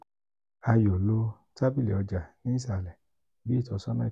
a yoo lo tabili ọja ni isalẹ bi itọsọna ikẹkọ.